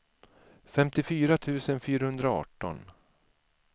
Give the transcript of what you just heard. femtiofyra tusen fyrahundraarton